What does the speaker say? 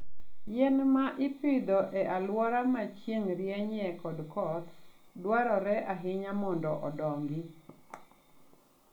Yien ma ipidho e alwora ma chieng' rienyie kod koth, dwarore ahinya mondo odongi.